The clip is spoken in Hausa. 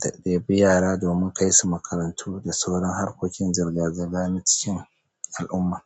da ɗebi yara domin kai su makarantu da sauran harkokin zirga-zirga na cikin al'umma.